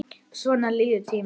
Svona líður tíminn.